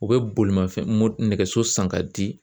U bɛ bolimafɛn nɛgɛso san k'a di